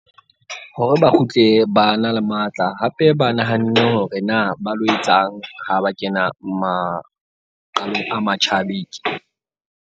Hore ba kgutle ba na le matla hape ba nahanne hore na ba lo etsang ha ba kena maqalong a .